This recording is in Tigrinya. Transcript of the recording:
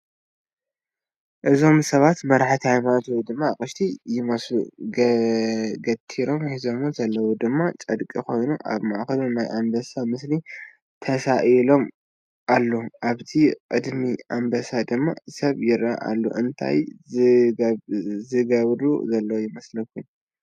እዞም ሰባት መራሕቲ ሃይማኖት ወይ ድማ ኣቕሽቲ ይመስል ገቲሮም ሒዞምዎ ዘለዉ ድማ ጨርቒ ኾይኑ ኣብ ማእኸሉ ናይ ኣምበሳ ምስሊ ተሳኢሉዎ ኣሎ፡ ኣብቲ ቕድሚ ኣምበሳ ድማ ሰብ ይረኣይ ኣሎ እታይ ዝገብር ዘሎ ይመስል ?